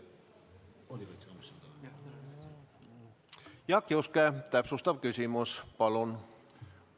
Jaak Juske, täpsustav küsimus, palun!